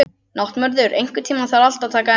Náttmörður, einhvern tímann þarf allt að taka enda.